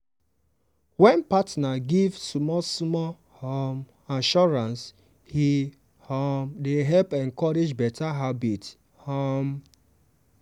when partner give small-small um assurance e um dey help encourage better habit. um